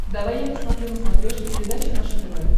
давай я посмотрю на смотрешке передачу наше тв